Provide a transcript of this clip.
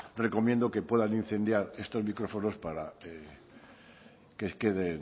recomiendo que puedan incendiar estos micrófonos para que queden